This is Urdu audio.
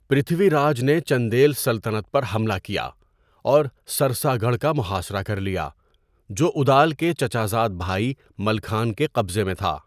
پرتھوی راج نے چندیل سلطنت پر حملہ کیا اور سرساگڑھ کا محاصرہ کر لیا، جو اُدال کے چچا زاد بھائی ملکھان کے قبضے میں تھا۔